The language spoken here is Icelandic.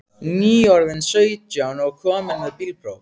Nýorðinn sautján og kominn með bílpróf.